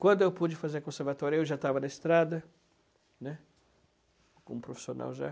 Quando eu pude fazer conservatório, eu já estava na estrada, né, como profissional já.